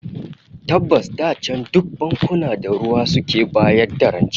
Tabbas da can duk bankuna da ruwa suke bayar da rance